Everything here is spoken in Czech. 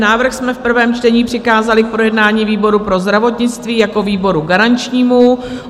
Návrh jsme v prvém čtení přikázali k projednání výboru pro zdravotnictví jako výboru garančnímu.